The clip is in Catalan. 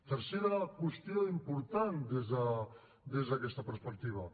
tercera qüestió important des d’aquesta perspectiva